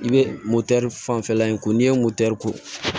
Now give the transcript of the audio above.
I bɛ fanfɛla in ko n'i ye ko